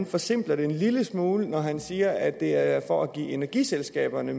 forsimpler det en lille smule når han siger at det er for at give energiselskaberne